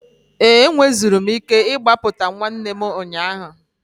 Ee, enweziri m ike ịgbapụtawu nwanne m ụnyaahụ.